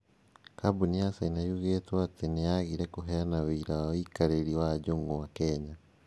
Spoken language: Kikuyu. kambuni ya caina yugĩtwo atĩ nĩ yagire kũheana ũira wa ũikarĩri wa njũng'wa Kenya.